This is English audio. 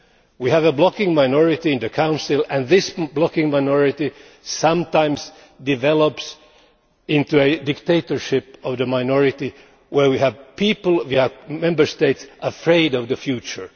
We have a blocking minority in the Council and this blocking minority sometimes develops into a dictatorship of the minority where we have Member States that are afraid of the future.